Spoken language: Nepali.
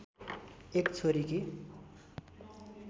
एक छोरीकी